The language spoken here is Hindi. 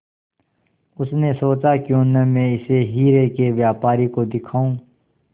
उसने सोचा क्यों न मैं इसे हीरे के व्यापारी को दिखाऊं